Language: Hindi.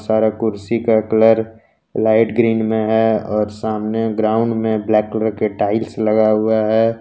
सारा कुर्सी का कलर लाइट ग्रीन में है और सामने ग्राउंड में ब्लैक कलर के टाइल्स लगा हुआ है।